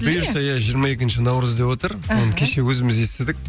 бұйырса иә жиырма екінші наурыз деп отыр іхі оны кеше өзіміз естідік